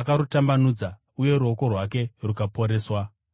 Akarutambanudza, uye ruoko rwake rukaporeswa.